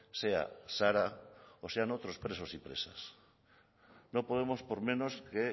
sea sara o sean otros presos y presas no podemos por menos que